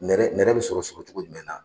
Nɛrɛ nɛrɛ bɛ sɔrɔ sɔrɔ cogo jumɛn na?